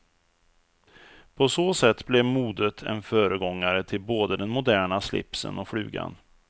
På så sätt blev modet en föregångare till både den moderna slipsen och flugan.